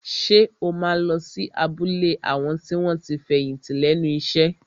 Ṣé o máa lọ sí abúlé àwọn tí wọ́n ti fẹ̀yìntì lẹ́nu iṣẹ́?